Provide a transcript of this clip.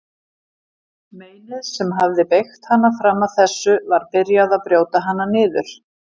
Meinið sem hafði beygt hana fram að þessu var byrjað að brjóta hana niður.